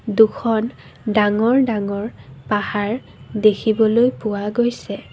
দুখন ডাঙৰ ডাঙৰ পাহাৰ দেখিবলৈ পোৱা গৈছে।